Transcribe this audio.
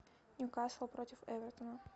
ньюкасл против эвертона